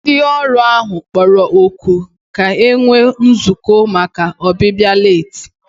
Ndị ọrụ ahụ kpọrọ oku ka e nwee nzukọ maka ọbịbịa leeti